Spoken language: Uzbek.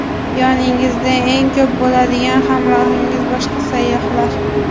Yoningizda eng ko‘p bo‘ladigan hamrohingiz boshqa sayyohlar.